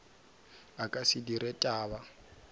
a ka se dire taba